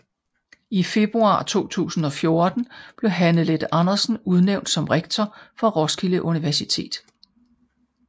I februar 2014 blev Hanne Leth Andersen udnævnt som rektor for Roskilde Universitet